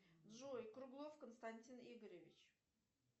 джой круглов константин игоревич